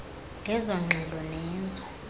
ngezo ngxelo nezo